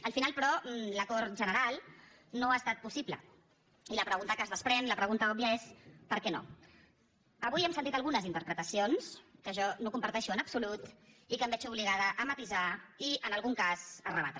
al final però l’acord general no ha estat possible i la pregunta que es desprèn la pregunta òbvia és per què no avui hem sentit algunes interpretacions que jo no comparteixo en absolut i que em veig obligada a matisar i en algun cas a rebatre